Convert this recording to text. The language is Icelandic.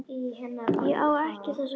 Ég á ekki þessa gömlu.